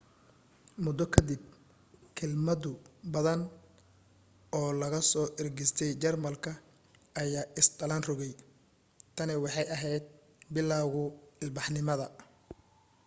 muddo ka dib kelmado badan oo laga soo ergistay jarmalka ayaa is dhalan rogay tani waxay ahayd bilowguu ilbaxnimada